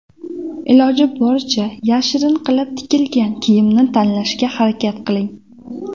Iloji boricha yashirin qilib tikilgan kiyimni tanlashga harakat qiling.